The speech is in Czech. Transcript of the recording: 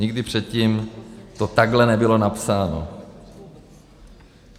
Nikdy předtím to takhle nebylo napsáno.